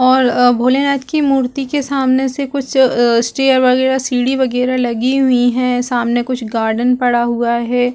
और अ भोलेनाथ की मूर्ति के सामने से कुछ अ स्टेयर वगैरह सीढ़ी वगैरह लगी हुई है सामने कुछ गार्डन पड़ा हुआ हैं।